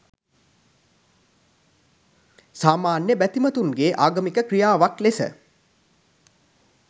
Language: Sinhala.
සාමාන්‍ය බැතිමතුන්ගේ ආගමික ක්‍රියාවක් ලෙස